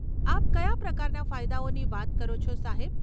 આપ કયા પ્રકારના ફાયદાઓની વાત કરો છો, સાહેબ?